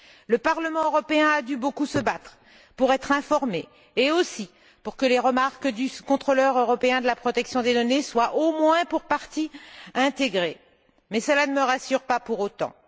Le Parlement européen a dû beaucoup se battre pour être informé et aussi pour que les remarques du Contrôleur européen de la protection des données soient au moins pour partie intégrées, mais cela ne me rassure pas pour autant.